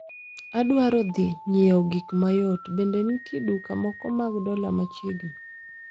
Adwaro dhi nyiewo gik mayot, bende nitie duka moko mag dola machiegni?